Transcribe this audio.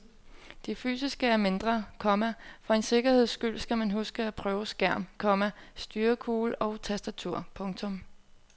Det fysiske er mindre, komma og for en sikkerheds skyld skal man huske at prøve skærm, komma styrekugle og tastatur. punktum